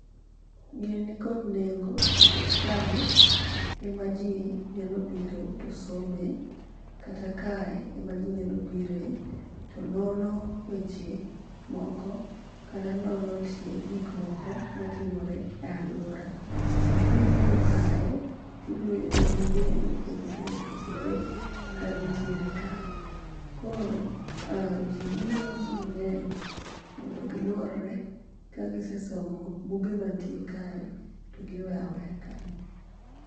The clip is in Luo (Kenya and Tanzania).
gini ni kod neng'o nikech kae ema ji nyalo biro to some kata kae ema ji nyalo bire to nono weche moko kata nono tie gik moko matimore e aluora ,kibiro kae tibiro yudo buge mopogore opogore kanitiere kae koro ji biro mang'eny mondo giluore ka gise somo buge mantie kae to giweyo aweya kae